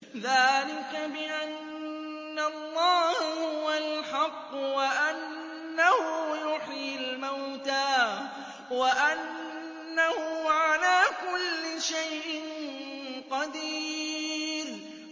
ذَٰلِكَ بِأَنَّ اللَّهَ هُوَ الْحَقُّ وَأَنَّهُ يُحْيِي الْمَوْتَىٰ وَأَنَّهُ عَلَىٰ كُلِّ شَيْءٍ قَدِيرٌ